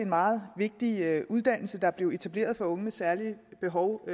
meget vigtige uddannelse der syv blev etableret for unge med særlige behov